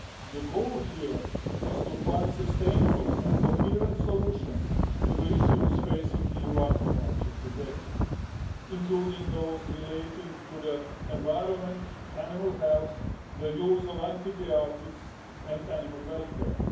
The goal here is to find sustainable and coherent solutions to the issues facing EU aquaculture today, including those relating to the environment, animal health, the use of antibiotics and animal welfare.